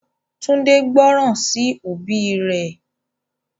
Tunji gbóròn sí òbí ré.